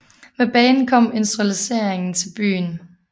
Med banen kom industrialiseringen til byen